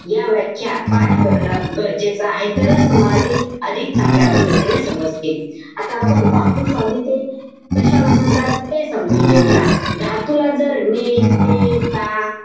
या व्याख्या पाठ करणं गरजेचं आहे. तरच तूम्हाला ती अधिक चांगल्या पद्धतीने समजतील. आता आपण धातुसाधिते कशाला म्हणतात, ते समजून घेऊया. धातूला जर ने, ते, ता,